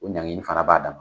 O ɲaŋeni fana b'a dama